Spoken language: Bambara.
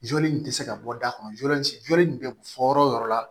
Joli nin tɛ se ka bɔ da kɔnɔ joli in bɛ bɔ yɔrɔ o yɔrɔ